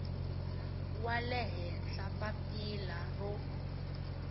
wa le henhla papila ro